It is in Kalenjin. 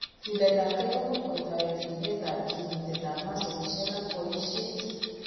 Chuletab gee ko much kotoreti ribetab kimitetab masolishek ak boishet.